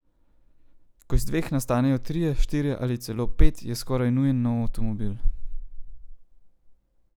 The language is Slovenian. Ko iz dveh nastanejo trije, štirje ali celo pet, je skoraj nujen nov avtomobil.